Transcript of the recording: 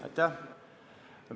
Aitäh!